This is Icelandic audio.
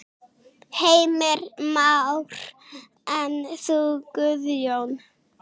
Heimir Már: En þú Guðjón?